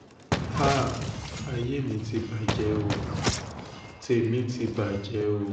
háà ayé mi ti bàjẹ́ ó tèmi ti bàjẹ́ o